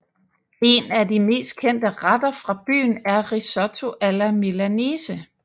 En af de mest kendte retter fra byen er risotto alla milanese